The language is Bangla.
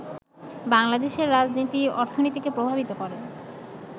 বাংলাদেশের রাজনীতি, অর্থনীতিকে প্রভাবিত করে